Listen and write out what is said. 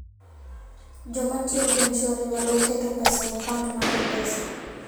Joma tiyo gi M-Shwari nyalo keto pesa e akaunt mar M-Pesa.